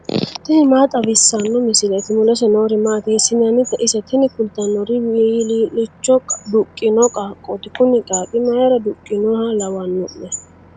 tini maa xawissanno misileeti ? mulese noori maati ? hiissinannite ise ? tini kultannori wilii'licho duqqino qaaqqooti kuni qaaqqi mayra duhinoha lawanno'ne?